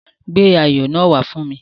Gbé ayò náà wá fún mi.